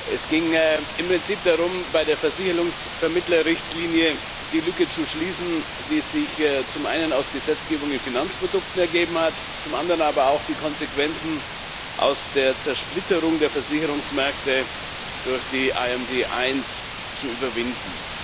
Es ging im Prinzip darum, zum einen bei der Versicherungsvermittlerrichtlinie die Lücke zu schließen, die sich aus Gesetzgebung in Finanzprodukten ergeben hat, zum anderen aber auch die Konsequenzen aus der Zersplitterung der Versicherungsmärkte durch die IMD1 zu überwinden.